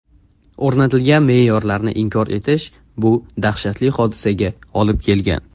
O‘rnatilgan me’yorlarni inkor etish bu dahshatli hodisaga olib kelgan.